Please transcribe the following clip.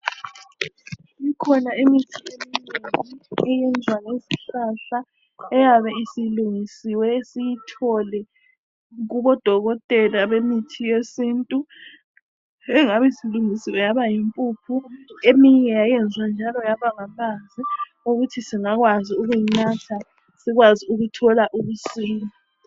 Ikhona imithi esingcwele eyenzwa ngezihlahla eyabe isilungisiwe siyithole kubodokotela bemithi yesintu iyabe isilungiswe yaba yimpuphu eminye yayenzwa njalo yabangamanzi ukuthi singakwanisa ukuyinatha njalo sithole ukusila